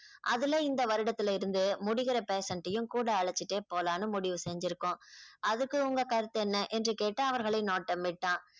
அதுல இந்த வருடத்தில இருந்து முடிகிற patient யும் கூட அழைச்சிட்டே போலாம்ன்னு முடிவு செஞ்சிருக்கோம் அதுக்கு உங்க கருத்து என்ன என்று கேட்டு அவர்களை நோட்டம் விட்டான்